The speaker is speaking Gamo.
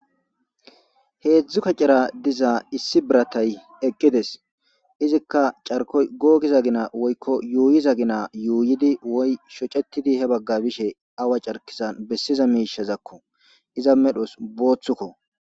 heedzdzu kacera diza issi biratay eqqides izikka carko googi za gina woykko yuuyi za gina yuuyidi woy shocetidi he bagga bishe awa carkisan bessiza miishazakko iza medhos booththukko